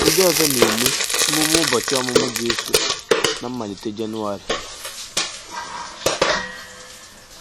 Ndị ọzọ na-eme emụme ụbọchị ọmụmụ Jesụ ná mmalite Jenụwarị.